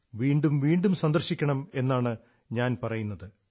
വീണ്ടും വീണ്ടും സന്ദർശിക്കണം എന്നാണ് ഞാൻ പറയുക